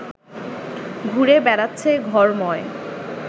ঘুরে বেড়াচ্ছে ঘরময়